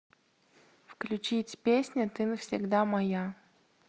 включить песня ты навсегда моя